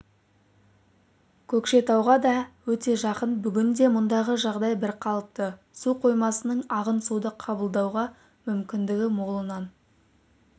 көкшетауға да өте жақын бүгінде мұндағы жағдай бірқалыпты су қоймасының ағын суды қабылдауға мүмкіндігі молынан